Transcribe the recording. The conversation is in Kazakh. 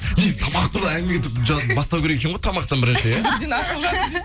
негізі тамақты былай әңгіме етіп бастау керек екен ғой тамақтан бірінші иә